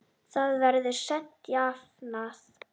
Það verður seint jafnað.